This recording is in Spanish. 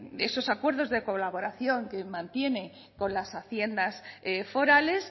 esos acuerdos de colaboración que mantiene con las haciendas forales